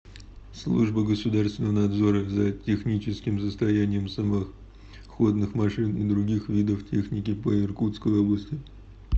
служба государственного надзора за техническим состоянием самоходных машин и других видов техники по иркутской области